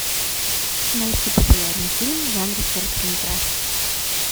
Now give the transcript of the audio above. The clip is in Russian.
найти популярный фильм в жанре короткометражка